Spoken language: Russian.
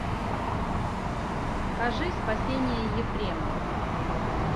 покажи спасение ефрема